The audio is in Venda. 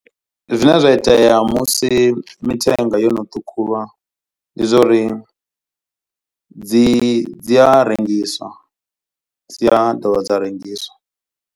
Zwine zwa itea musi mithenga yo no ṱhukhuwa. Ndi zwa uri dzi dzi a rengiswa dzi a dovha dza rengiswa.